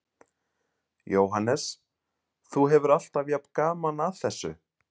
Jóhannes: Þú hefur alltaf jafn gaman að þessu?